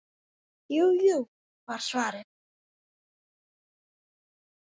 Jú, jú var svarið.